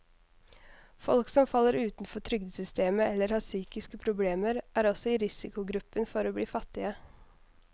Folk som faller utenfor trygdesystemet eller har psykiske problemer, er også i risikogruppen for å bli fattige.